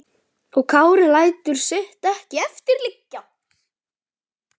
Og Kári lætur sitt ekki eftir liggja.